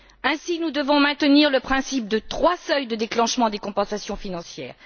Ainsi, nous devons maintenir le principe des trois seuils de déclenchement des compensations financières.